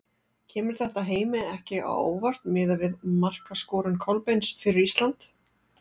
Kemur þetta Heimi ekki á óvart miðað við markaskorun Kolbeins fyrir Ísland?